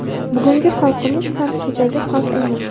Bugungi xalqimiz ham kechagi xalq emas.